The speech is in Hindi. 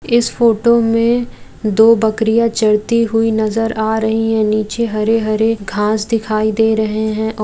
इस फोटो में दो बकरिया चरती हुई नजर आ रही है निचे हरे-हरे घास दिखाई दे रहे है और --